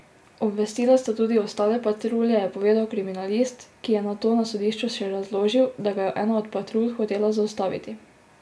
Obvestila sta tudi ostale patrulje, je povedal kriminalist, ki je nato na sodišču še razložil, da ga je ena od patrulj hotela zaustaviti.